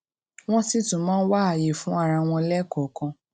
wón sì tún máa ń wá àyè fún ara wọn léèkòòkan